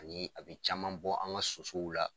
Ani a bi caman bɔ an ka sosow la.